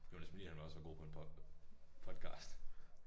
Det var næsten fordi han var så god på en pod podcast